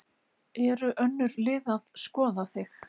Eru önnur lið að skoða þig?